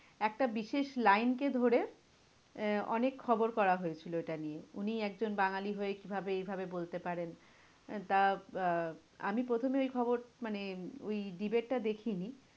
একটা বিশেষ line কে ধরে আহ অনেক খবর করা হয়েছিল ওইটা নিয়ে। উনি একজন বাঙালি হয়ে কি ভাবে এইভাবে বলতে পারেন? আহ তা আহ আমি প্রথমে ওই খবর মানে ওই debate টা দেখিনি